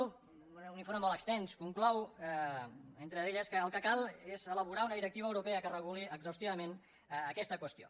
un informe molt extens i conclou entre elles que el que cal és elaborar una directiva europea que reguli exhaustivament aquesta qüestió